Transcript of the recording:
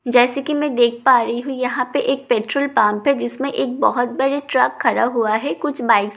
जैसा कि मैं देख पा रही हूँ यहाँ पे एक पेट्रोल पंप है जिसमें एक बहुत बड़े ट्रक खड़ा हुआ है जिसमें कुछ बाइक्‍स --